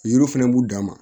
Yiri fɛnɛ b'u dan ma